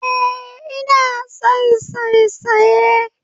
Eh, ina son saisaye